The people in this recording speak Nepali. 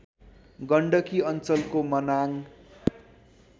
गण्डकी अञ्चलको मनाङ